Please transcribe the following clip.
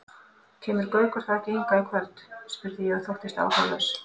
Kemur Gaukur þá ekki hingað í kvöld? spurði ég og þóttist áhugalaus.